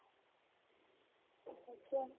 এতিয়া